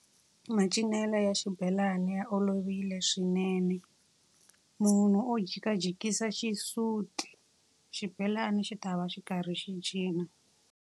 Macinelo ya xibelani ya olovile swinene. Munhu u jikajikisa xisuti, xibelana xi ta va xi karhi xi cina.